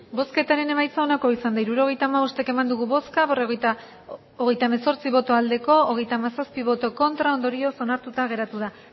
hirurogeita hamabost eman dugu bozka hogeita hemezortzi bai hogeita hamazazpi ez ondorioz onartuta geratu da